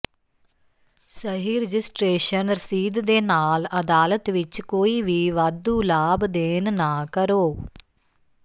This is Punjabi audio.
ਸਹੀ ਰਜਿਸਟਰੇਸ਼ਨ ਰਸੀਦ ਦੇ ਨਾਲ ਅਦਾਲਤ ਵਿੱਚ ਕੋਈ ਵੀ ਵਾਧੂ ਲਾਭ ਦੇਣ ਨਾ ਕਰੋ